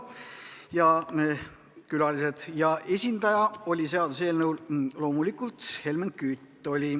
Samuti olid kohal külalised ja seaduseelnõu algataja esindaja oli loomulikult Helmen Kütt.